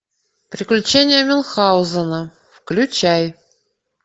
приключения мюнхгаузена включай